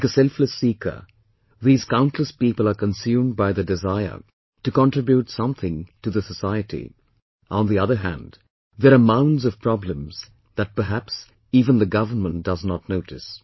Like a selfless seeker, these countless people are consumed by desire to contribute something to the society, on the other hand there are mounds of problems that perhaps even the government does not notice